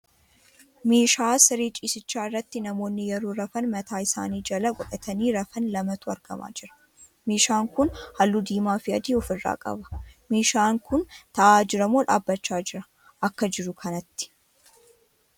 Meeshaa siree ciisichaa irratti namoonni yeroo rafan mataa isanii jala godhatanii rafan lamatu argamaa jira. Meeshaan kun halluu diimaa fi adii ofiirraa qaba. Meeshaan kun tahaa jiramoo dhaabbachaa jiraa akka jiru kanatti?